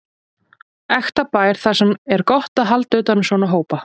Ekta bær þar sem er gott að halda utan um svona hópa.